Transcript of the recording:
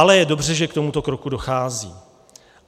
Ale je dobře, že k tomuto kroku dochází.